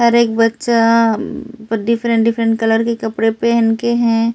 हर एक बच्चा um different different colour के कपडे पहन के है ।